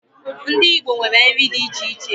Ndi Igbo nwere nri di iche iche